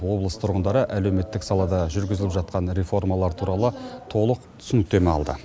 облыс тұрғындары әлеуметтік салада жүргізіліп жатқан реформалар туралы толық түсініктеме алды